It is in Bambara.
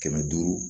Kɛmɛ duuru